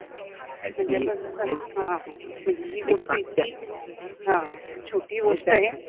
म्हणजे हि गोष्ट इतकि छोटि गोष्ट आहे